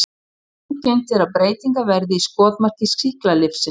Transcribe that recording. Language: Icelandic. Algengt er að breytingarnar verði í skotmarki sýklalyfsins.